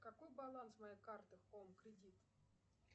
какой баланс моей карты хоум кредит